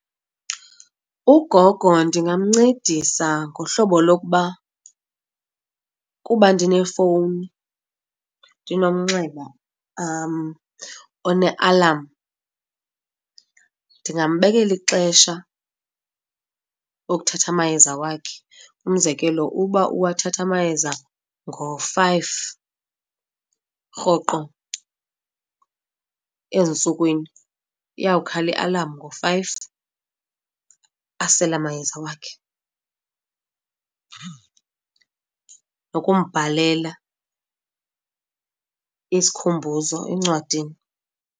Ugogo ndingamncedisa ngohlobo lokuba kuba ndinefowuni ndinomnxeba onealamu ndingambekela ixesha okuthatha amayeza wakhe. Umzekelo, uba uwathatha amayeza ngo-five rhoqo ezintsukwini iya kukhala ialamu ngo-five, asele amayeza wakhe, nokumbhalela isikhumbuzo encwadini.